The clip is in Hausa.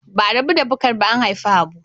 Ba'a rabu da Bukar ba an haifi Habu.